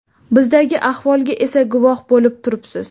Bizdagi ahvolga esa guvoh bo‘lib turibsiz.